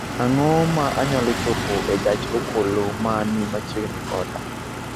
Ang�o ma anyalo chopo e gach okoloma ni machiegni koda?